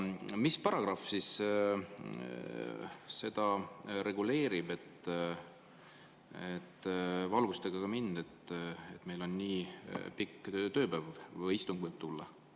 Mis paragrahv seda reguleerib, valgustage ka mind, et meil nii pikk tööpäev või istung võib tulla?